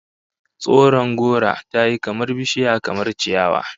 Tsoron gora tayi kamar bishiya kamar ciyawa